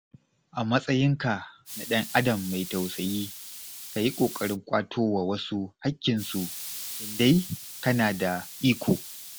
A matsayinka na ɗan'adam mai tausayi, ka yi ƙoƙarin ƙwato wa wasu haƙƙinsu in dai kana da iko.